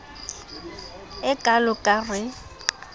e kalo ka r e